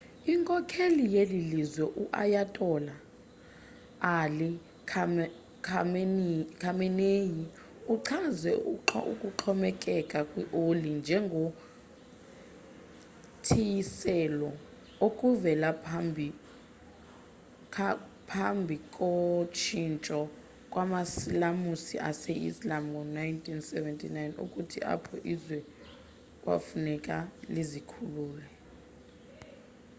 inkokheli yelilizwe u-ayatola ali khamenei uchaze ukuxhomekeka kwi oli njengo thiyiselwa okuvela phambhiko tshintsho kwamasilamusi ase-islam ngo1979 futhi apho izwe kwafuneka lizikhulule